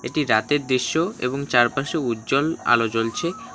এটি রাতের দৃশ্য এবং চারপাশে উজ্জ্বল আলো জ্বলছে।